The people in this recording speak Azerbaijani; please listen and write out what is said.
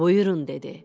Buyurun, dedi.